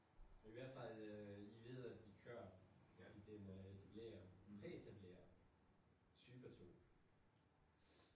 I hvert fald øh lige vide at de kører fordi den øh de blev jo præetableret type 2